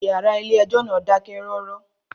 Ìyàrá ilé ẹjọ́ náà dákẹ́ rọ́rọ́.